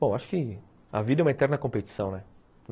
Bom, acho que a vida é uma interna competição, né?